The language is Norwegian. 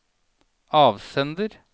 avsender